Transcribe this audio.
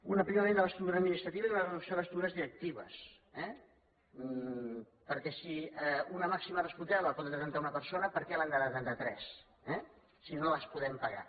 un aprimament de l’estructura administrativa i una reducció de les estructures directives eh perquè si una màxima responsabilitat la pot detenir una persona per què l’han de detenir tres eh si no les podem pagar